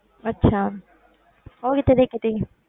ਅੱਛਾ ਉਹ ਕਿੱਥੇ ਦੇਖੀ ਸੀ,